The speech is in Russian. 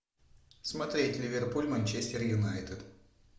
смотреть ливерпуль манчестер юнайтед